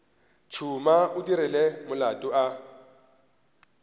tšhuma o dirile molato a